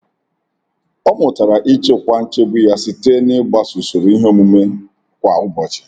Ọ mụtara ịchịkwa nchegbu ya site n'ịgbaso usoro ihe omume kwa ụbọchị.